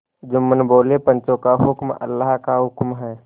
जुम्मन बोलेपंचों का हुक्म अल्लाह का हुक्म है